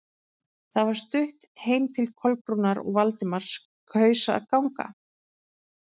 Það var stutt heim til Kolbrúnar og Valdimar kaus að ganga.